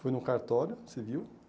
Foi num cartório, civil.